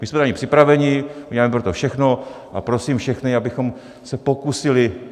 My jsme na ni připraveni, uděláme pro to všechno a prosím všechny, abychom se pokusili.